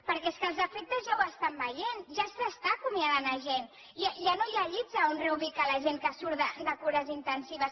perquè els efectes ja els veiem ja s’acomiada gent ja no hi ha llits on reubicar la gent que surt de cures intensives